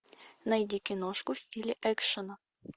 найди киношку в стиле экшена